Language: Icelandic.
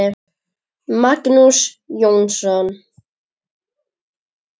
Magnús Jónsson